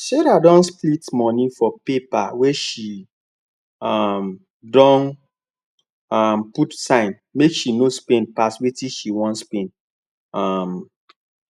sarah dey split money for paper wey she um don um put sign make she no spend pass wetin she wan spend um